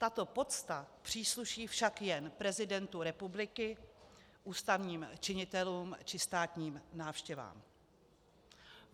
Tato pocta přísluší však jen prezidentu republiky, ústavním činitelům či státním návštěvám.